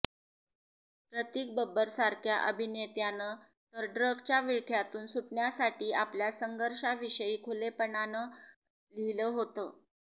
प्रतीक बब्बरसारख्या अभिनेत्यानं तर ड्रग्जच्या विळख्यातून सुटण्यासाठी आपल्या संघर्षाविषयी खुलेपणानं लिहिलं होतं